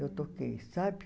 Eu toquei, sabe?